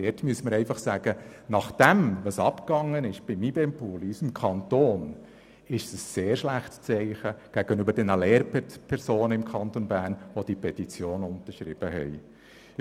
Dazu müsste man festhalten, dass nach allem, was beim IBEM-Pool in unserem Kanton bisher geschah, ein sehr schlechtes Signal gegenüber den Lehrpersonen, die die Petition unterschrieben haben, ausgesendet würde.